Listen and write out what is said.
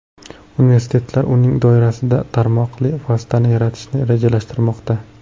Universitetlar uning doirasida tarmoqli vositani yaratishni rejalashtirmoqda.